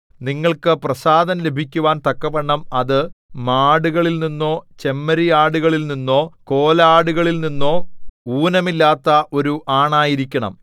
നിങ്ങൾക്ക് പ്രസാദം ലഭിക്കുവാൻ തക്കവണ്ണം അത് മാടുകളിൽനിന്നോ ചെമ്മരിയാടുകളിൽനിന്നോ കോലാടുകളിൽനിന്നോ ഊനമില്ലാത്ത ഒരു ആണായിരിക്കണം